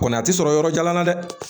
Kɔni a tɛ sɔrɔ yɔrɔ jan na dɛ